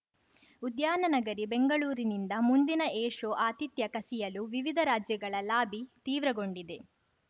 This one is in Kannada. ಉದ್ಯಾನನಗರಿ ಬೆಂಗಳೂರಿನಿಂದ ಮುಂದಿನ ಏರ್‌ಶೋ ಆತಿಥ್ಯ ಕಸಿಯಲು ವಿವಿಧ ರಾಜ್ಯಗಳ ಲಾಬಿ ತೀವ್ರಗೊಂಡಿದೆ